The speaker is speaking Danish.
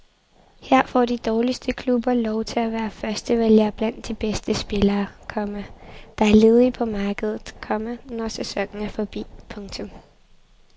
Her får de dårligste klubber lov til at være førstevælgere blandt de bedste spillere, komma der er ledige på markedet, komma når sæsonen er forbi. punktum